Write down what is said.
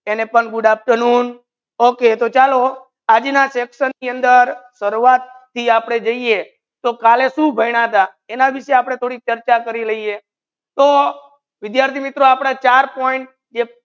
અને પણ good afternoon okay તો ચલો આજના chapters નિ અંદર શુરુઆત થી આપને જયયે તો કાલે શુ ભાણીયા તા એના વિષય આપને થોડી ચર્ચા કરી લેઇયે તો વિદ્યાર્થી મિત્ર આપના ચાર point